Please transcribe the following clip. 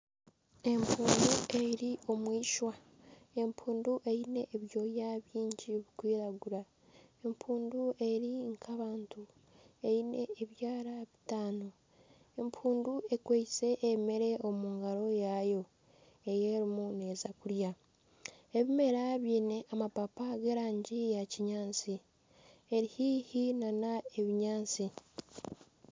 Empundu eri omu eishwa. Empundu eine ebyoya bingi bikwiragura. Empundu eri nk'abantu eine ebyara bitaano. empundu ekwaitse emere omu ngaro yaayo ei erimu neeza kurya. Ebimera biine amapapa g'erangi ya kinyaatsi. Eri haihi n'ebinyaatsi.